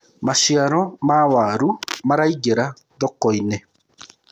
maciaro ma waru maraingira thoko-inĩ